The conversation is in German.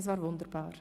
es war wunderbar.